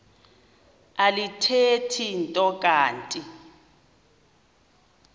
alithethi nto kanti